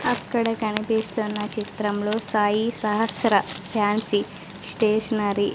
అక్కడ కనిపిస్తున్న చిత్రంలో సాయి సహస్ర ఫాన్సీ స్టేషనరీ .